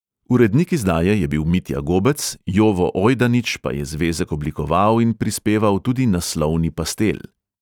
Urednik izdaje je bil mitja gobec, jovo ojdanič pa je zvezek oblikoval in prispeval tudi naslovni pastel.